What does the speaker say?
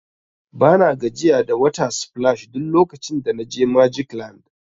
Bana gajiya da water splash duk lokacin da na je magic land.